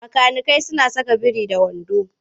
Makanikai suna saka biri-da-wando idan za su yi aiki.